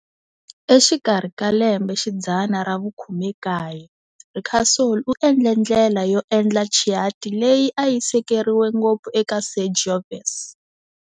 Exikarhi ka lembe xidzana ra vu-19, Ricasoli u endle ndlela yo endla Chianti leyi a yi sekeriwe ngopfu eka Sangiovese.